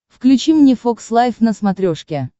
включи мне фокс лайф на смотрешке